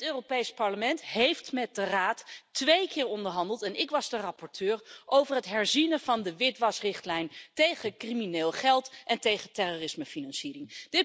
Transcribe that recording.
Dit Europees Parlement heeft met de Raad twee keer onderhandeld en ik was de rapporteur over het herzien van de witwasrichtlijn tegen crimineel geld en tegen terrorismefinanciering.